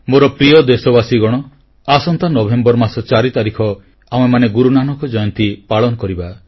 ମୋର ପ୍ରିୟ ଦେଶବାସୀଗଣ ଆସନ୍ତା ନଭେମ୍ବର ମାସ 4 ତାରିଖ ଆମେମାନେ ଗୁରୁ ନାନକ ଜୟନ୍ତୀ ପାଳନ କରିବା